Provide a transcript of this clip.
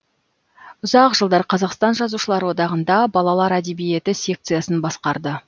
ұзақ жылдар қазақстан жазушылар одағында балалар әдиебиеті секциясын басқарды